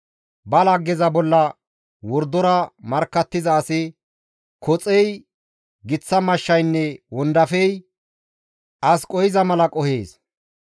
Ba laggeza bolla wordora markkattiza asi koxey, giththa mashshaynne wondafey as qohiza mala qohees.